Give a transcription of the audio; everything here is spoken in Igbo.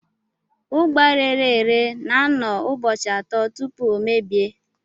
Ugba rere ere na-anọ ụbọchị atọ tupu ọ mebie.